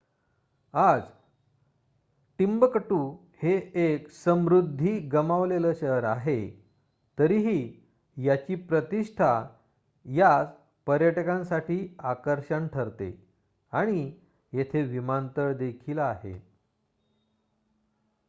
आज टिम्बकटू हे एक समृद्धी गमावलेले शहर आहे तरीही याची प्रतिष्ठा यास पर्यटकांसाठी आकर्षण ठरते आणि येथे विमानतळ देखील आहे